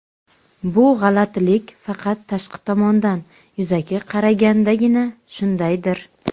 bu "g‘alatilik" faqat tashqi tomondan – yuzaki qaragandagina shundaydir.